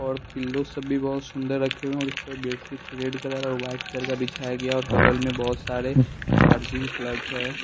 और पिल्लो सब भी बहुत सुंदर रखे हुए हैं और इस पर बेडशीट रेड कलर और वाइट कलर का बिछाया गया और बगल में बहुत सारे चार्जिंग प्लग है।